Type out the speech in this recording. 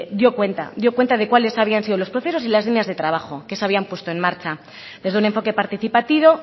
dio cuenta dio cuenta de cuáles habían sido los procesos y las líneas de trabajo que se habían puesto en marcha desde un enfoque participativo